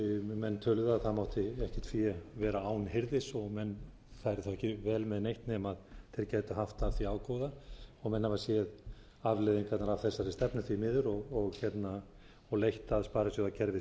menn töluðu að það mátti ekkert fé vera án hirðis og menn færu ekki vel með neitt eða þeir gætu haft af því ágóða og menn hafa séð afleiðingarnar af þessari stefnu því miður og leitt að sparisjóðakerfið